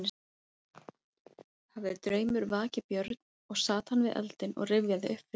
Hafði draumur vakið Björn og sat hann við eldinn og rifjaði upp fyrir sér.